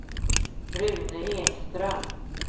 Rune Ekström